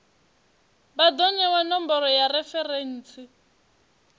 vha do newa nomboro ya referentsi